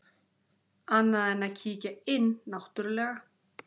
Annað en að kíkja inn náttúrlega.